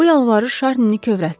Bu yalvarış Şarnini kövrəltdi.